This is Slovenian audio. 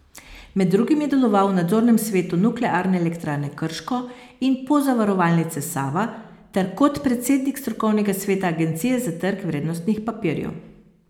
Med drugim je deloval v nadzornem svetu Nuklearne elektrarne Krško in Pozavarovalnice Sava ter kot predsednik strokovnega sveta Agencije za trg vrednostnih papirjev.